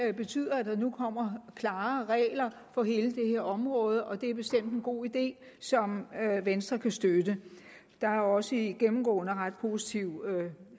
det betyder at der nu kommer klare regler på hele det her område og det er bestemt en god idé som venstre kan støtte der er også gennemgående ret positive